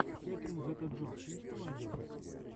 кэтрин зета джонс что найдешь из